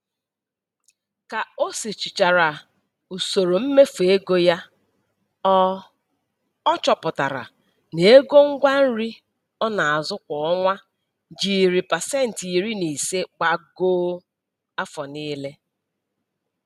Ka o sochichara usoro mmefu ego ya, ọ ọ chọpụtara na ego ngwa nri ọ na-azụ kwa ọnwa jiri pasenti iri na ise gbagoo afọ niile.